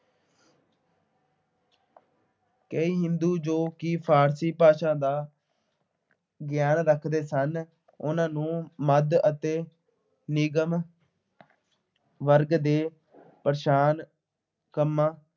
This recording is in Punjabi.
ਕਈ ਹਿੰਦੂ ਜੋ ਕਿ ਫਾਰਸੀ ਭਾਸ਼ਾ ਦਾ ਗਿਆਨ ਰੱਖਦੇ ਸਨ, ਉਨ੍ਹਾਂ ਨੂੰ ਮੱਧ ਅਤੇ ਨਿਗਮ ਵਰਗ ਨੇ ਪ੍ਰੇਸ਼ਾਨ ਕਰਨਾ।